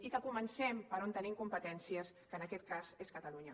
i que comencem per on tenim competències que en aquest cas és catalunya